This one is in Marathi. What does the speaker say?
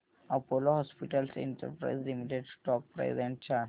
Apollo Hospitals Enterprise Limited stock price and chart